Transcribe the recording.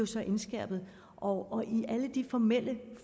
så indskærpet og i alle de formelle